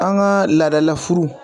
An gaa laadala furu